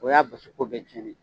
O y'a basiko bɛɛ tiɲɛnen ye